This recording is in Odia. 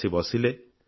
ଆସି ବସିଲେ